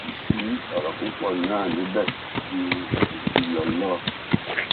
kò sì sí ọrọ púpọ náà níbẹ ju ìkìlọ lọ